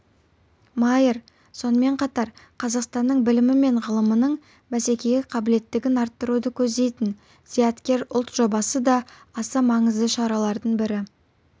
майер сонымен қатар қазақстанның білімі мен ғылымының бәсекеге қабілеттігін арттыруды көздейтін зияткер ұлт жобасы да аса маңызды шаралардың бірі